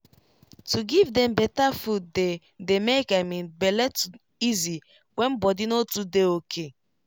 to give dem better food dey dey make i mean bele to easy when body no too dey ok.